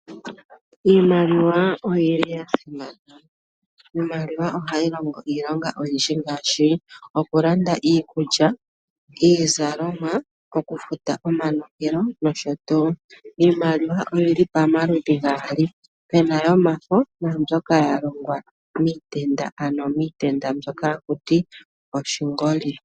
Iimaliwa oya simana, iimaliwa ohayi longo iilonga oyindji ngaashi: okulanda iikulya, iizalomwa, okufuta omanongelo nosho tuu. Iimaliwa oyi li pamaludhi gaali, pu na yomafo naambyoka ya longwa miitenda, ano miitenda mbyoka haku ti oshingoli.